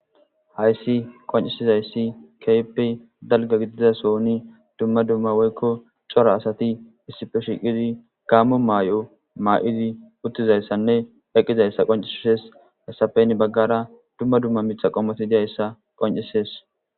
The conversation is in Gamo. hayssi qoncisizayssi keppe dalga gididasoni dumma dumma woykko cora asati issifeshiqidi gaammo maay7o maa7idi uttizayssanne eqqizayssa qoncesses hesafen baggara dumma dumma mitha qommoti diyayssa qoncisees